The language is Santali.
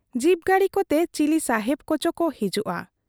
ᱡᱤᱯ ᱜᱟᱲᱤ ᱠᱚᱛᱮ ᱪᱤᱞᱤ ᱥᱟᱦᱮᱵᱽ ᱠᱚᱪᱚ ᱠᱚ ᱦᱤᱡᱩᱜ ᱟ ᱾